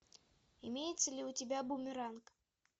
имеется ли у тебя бумеранг